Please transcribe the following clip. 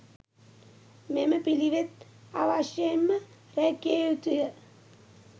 මෙම පිළිවෙත් අවශ්‍යයෙන්ම රැකිය යුතු ය.